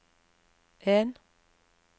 en